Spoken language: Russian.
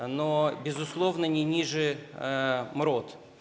но безусловно не ниже мрот